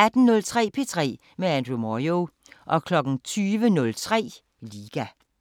18:03: P3 med Andrew Moyo 20:03: Liga